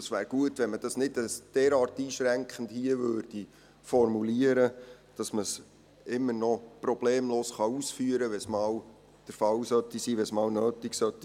Es wäre deshalb gut, wenn man dies hier nicht derart einschränkend formulieren würde, damit man es immer noch problemlos ausführen kann, wenn es einmal nötig ist.